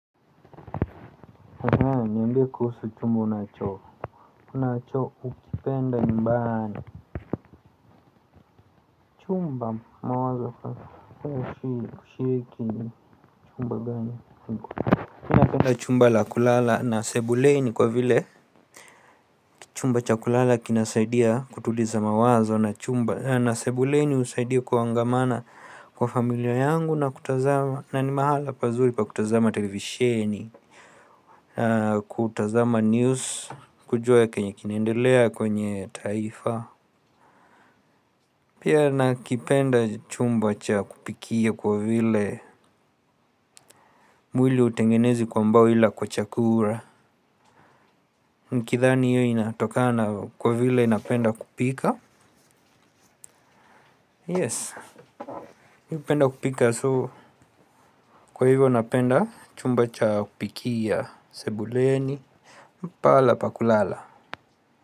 Niambie kuhusu chumba unacho unachoukipenda nyumbani. Chumba mawazo kuhusu kushiriki chumba gani mi napenda chumba la kulala na sebuleni kwa vile chumba cha kulala kinasaidia kutuliza mawazo na chumba na sebuleni husaidia kuangamana kwa familia yangu na kutazama na ni mahala pazuri pa kutazama televisheni. Kutazama news kujua kenye kinaendelea kwenye taifa. Pia nakipenda chumba cha kupikia kwa vile mwili hautengenezwi kwa mbao ila kwa chakula. Nikidhani hiyo inatokana kwa vile napenda kupika Yes, napenda kupika so. Kwa hivyo napenda chumba cha kupikia sebuleni ni pahala pa kulala.